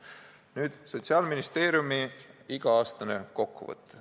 Mul on ees Sotsiaalministeeriumi iga-aastane kokkuvõte.